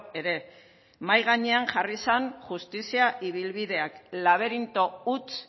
ere mahai gainean jarri zen justizia ibilbideak laberinto huts